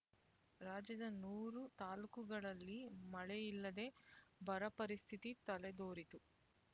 ರಾಜ್ಯದ ನೂರು ತಾಲ್ಲೂಕುಗಳಲ್ಲಿ ಮಳೆಯಿಲ್ಲದೆ ಬರಪರಿಸ್ಥಿತಿ ತಲೆದೋರಿತ್ತು